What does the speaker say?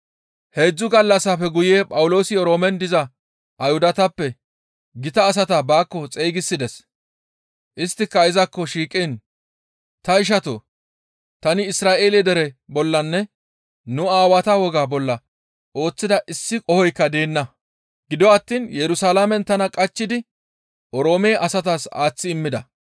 Heedzdzu gallassafe guye Phawuloosi Oroomen diza Ayhudatappe gita asata baakko xeygisides; isttika izakko shiiqiin, «Ta ishatoo! Tani Isra7eele dere bollanne nu aawata wogaa bolla ooththida issi qohoykka deenna; gido attiin Yerusalaamen tana qachchidi Oroome asatas aaththi immida.